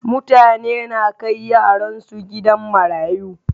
Mutane na kai yaran su gidan marayu.